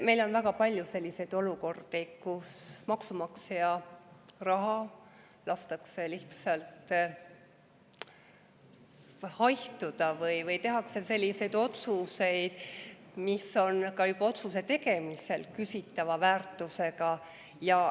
Meil on väga palju selliseid olukordi, kus maksumaksja raha lastakse lihtsalt haihtuda või tehakse selliseid otsuseid, mis on juba otsuse tegemise ajal küsitava väärtusega.